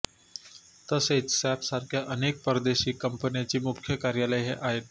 तसेच सॅप सारख्या अनेक परदेशी कंपन्याची मुख्य कार्यालये आहेत